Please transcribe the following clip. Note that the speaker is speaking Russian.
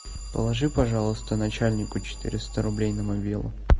положи пожалуйста начальнику четыреста рублей на мобилу